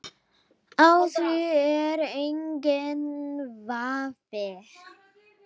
Á því er enginn vafi.